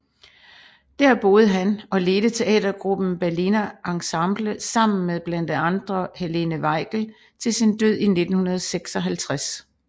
Dér boede han og ledte teatergruppen Berliner Ensemble sammen med blandt andre Helene Weigel til sin død i 1956